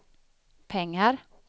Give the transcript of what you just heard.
pengar